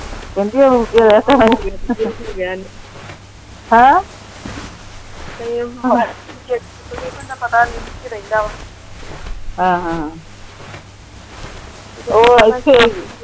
ਕਹਿੰਦੀ